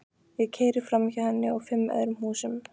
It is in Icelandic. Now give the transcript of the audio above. Ég keyri framhjá henni og fimm öðrum húsum.